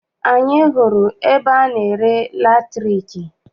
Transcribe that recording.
Anyị hụrụ ebe ana-ere latriki.